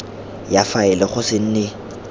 ya faele go se nne